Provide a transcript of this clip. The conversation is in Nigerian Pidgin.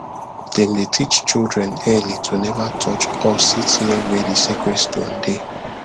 them dey teach children early to never touch or sit near where the sacred stone dey